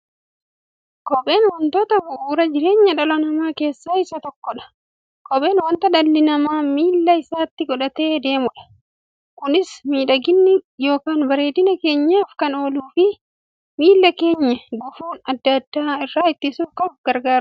Kopheen wantoota bu'uura jireenya dhala namaa keessaa isa tokkodha. Kopheen wanta dhalli namaa miilla isaatti godhatee deemudha. Kunis miidhagani yookiin bareedina keenyaf kan ooluufi miilla keenya gufuu adda addaa irraa ittisuuf gargaara.